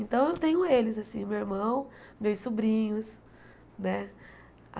Então, eu tenho eles, assim, meu irmão, meus sobrinhos, né?